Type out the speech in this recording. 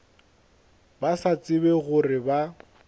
ba sa tsebe gore ba